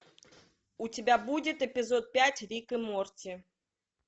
у тебя будет эпизод пять рик и морти